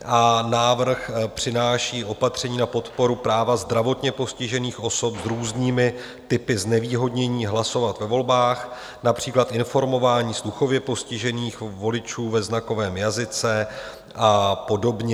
A návrh přináší opatření na podporu práva zdravotně postižených osob s různými typy znevýhodnění hlasovat ve volbách, například informování sluchově postižených voličů ve znakovém jazyce a podobně.